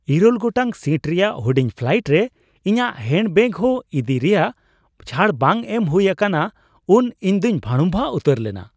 ᱘ ᱜᱚᱴᱟᱝ ᱥᱤᱴ ᱨᱮᱭᱟᱜ ᱦᱩᱰᱤᱧ ᱯᱷᱞᱟᱭᱤᱴ ᱨᱮ ᱤᱧᱟᱹᱜ ᱦᱮᱱᱰ ᱵᱮᱹᱜᱮᱡ ᱦᱚᱸ ᱤᱫᱤ ᱨᱮᱭᱟᱜ ᱪᱷᱟᱹᱲ ᱵᱟᱝ ᱮᱢ ᱦᱩᱭ ᱟᱠᱟᱱᱟ ᱩᱱ ᱤᱧᱫᱩᱧ ᱵᱷᱟᱲᱩᱢᱵᱷᱟ ᱩᱛᱟᱹᱨ ᱞᱮᱱᱟ ᱾